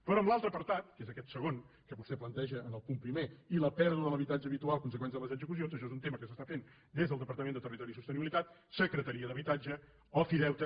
però en l’altre apartat que és aquest segon que vostè planteja en el punt primer i la pèrdua de l’habitatge habitual conseqüència de les execucions això és un tema que s’està fent des del departament de territori i sostenibilitat secretaria d’habitatge ofideute